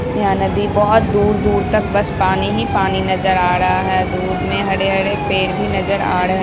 यह नदी बहुत दूर-दूर तक बस पानी ही पानी नजर आ रहा है। दूर में हरे-हरे पेड़ भी नजर आ रहे --